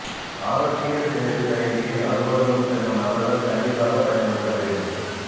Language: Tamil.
ஆரோக்ய சேது செயலியை அலுவலகம் செல்லும் நபர்கள் கண்டிப்பாக பயன்படுத்த வேண்டும்